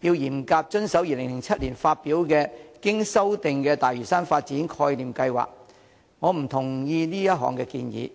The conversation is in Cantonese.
要嚴格遵守2007年發表的"經修訂的大嶼山發展概念計劃"，我不同意這項建議。